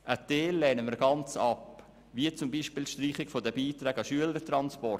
Einen Teil lehnen wir gänzlich ab, zum Beispiel die Streichung der Beiträge an Schülertransporte.